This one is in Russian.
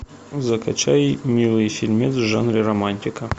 закачай милый фильмец в жанре романтика